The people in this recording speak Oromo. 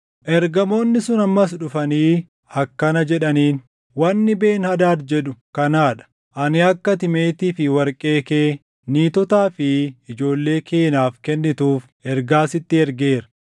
Ergamoonni sun ammas dhufanii akkana jedhaniin; “Wanni Ben-Hadaad jedhu kanaa dha; ‘Ani akka ati meetii fi warqee kee, niitotaa fi ijoollee kee naaf kennituuf ergaa sitti ergeera.